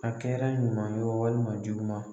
A kɛra ɲuman ye o walima juguma.